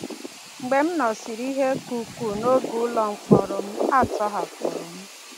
Mgbe m nọsịrị ihe ka ukwuu n’oge ụlọ mkpọrọ m, a tọhapụrụ m.